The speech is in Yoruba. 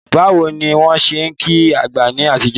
Báwo ni wọ́n ṣe ń kí àgbè ní àtijọ́?